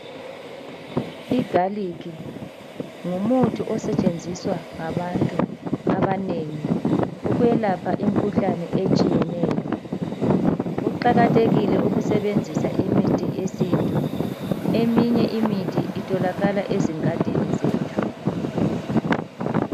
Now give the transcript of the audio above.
Igalikhi ngumuthi osetshenziswa ngabantu abanengi ukwelapha imikhuhlane etshiyeneyo. Kuqakathekile ukusebenzisa imithi yesintu, eminye imithi itholakala ezingadini zethu.